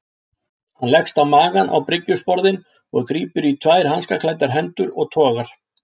Hann leggst á magann á bryggjusporðinn og grípur í tvær hanskaklæddar hendur og togar.